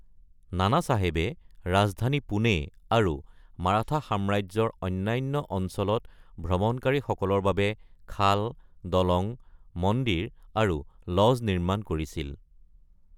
নানাচাহেবে ৰাজধানী পুনে আৰু মাৰাঠা সাম্ৰাজ্যৰ অন্যান্য অঞ্চলত ভ্ৰমণকাৰীসকলৰ বাবে খাল, দলং, মন্দিৰ আৰু লজ নিৰ্মাণ কৰিছিল।